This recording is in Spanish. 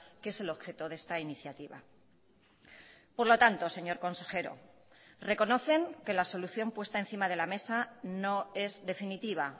que es el objeto de esta iniciativa por lo tanto señor consejero reconocen que la solución puesta encima de la mesa no es definitiva